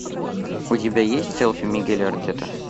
у тебя есть селфи мигеля артера